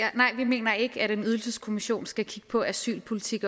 og nej vi mener ikke at en ydelseskommission også skal kigge på asylpolitik